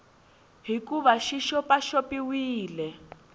hi ku va xi xopaxopiwile